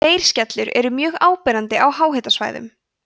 leirskellur eru mjög áberandi á háhitasvæðum